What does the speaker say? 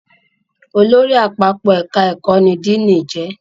Olórí Àpapọ̀ ẹ̀ka ẹ̀kọ́ ní Díìnì jẹ́